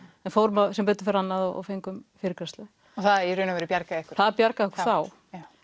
en fórum sem betur fer annað og fengum fyrirgreiðslu þar það í raun og veru bjargaði ykkur það bjargaði okkur þá